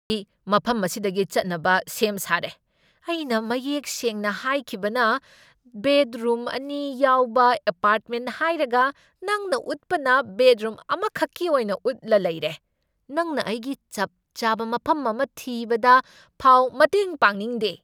ꯑꯩ ꯃꯐꯝ ꯑꯁꯤꯗꯒꯤ ꯆꯠꯅꯕ ꯁꯦꯝ ꯁꯥꯔꯦ ꯫ ꯑꯩꯅ ꯃꯌꯦꯛ ꯁꯦꯡꯅ ꯍꯥꯏꯈꯤꯕꯅ ꯕꯦꯗꯔꯨꯝ ꯑꯅꯤ ꯌꯥꯎꯕ ꯑꯦꯄꯥꯔ꯭ꯠꯃꯦꯟ ꯍꯥꯏꯔꯒ ꯅꯪꯅ ꯎꯠꯄꯅ ꯕꯦꯗꯔꯨꯝ ꯑꯃꯈꯛꯀꯤ ꯑꯣꯏꯅ ꯎꯠꯂ ꯂꯩꯔꯦ꯫ ꯅꯪꯅ ꯑꯩꯒꯤ ꯆꯞ ꯆꯥꯕ ꯃꯐꯝ ꯑꯃ ꯊꯤꯕꯗ ꯐꯥꯎ ꯃꯇꯦꯡ ꯄꯥꯡꯅꯤꯡꯗꯦ꯫